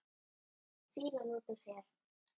Fýlan út úr þér!